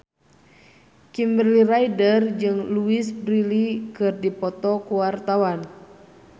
Kimberly Ryder jeung Louise Brealey keur dipoto ku wartawan